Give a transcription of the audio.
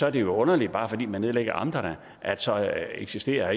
er det jo underligt bare fordi man nedlægger amterne at så eksisterer